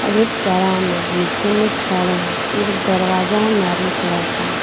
एक तरह में नीचे में छड़ है एक दरवाजा मैरून कलर का।